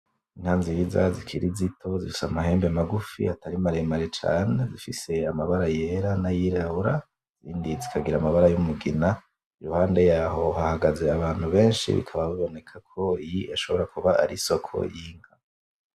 Inka nziza zikiri zito zifise amahembe magufi atari maremare cane, dufise amabara yera na yirabura indi zikagira amabara y'umugina. Iruhando yaho hahagaze abantu benshi bikaba biboneka ko iyi ashobora kuba ari isoko y'inka.